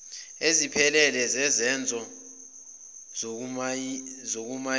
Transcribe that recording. eziphelele zezenzo zokumayina